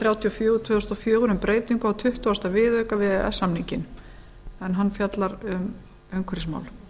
þrjátíu og fjögur tvö þúsund og fjögur um breytingu á tuttugasta viðauka við e e s samninginn en hann fjallar um umhverfismál